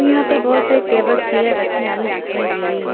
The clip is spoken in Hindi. यहां पर बहुत सारे टेबल चेयर रखी हुई दिखाई दे रही है।